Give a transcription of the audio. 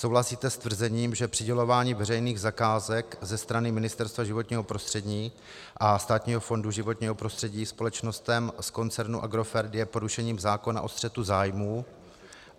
Souhlasíte s tvrzením, že přidělování veřejných zakázek ze strany Ministerstva životního prostředí a Státního fondu životního prostředí společnostem z koncernu Agrofert je porušením zákona o střetu zájmů?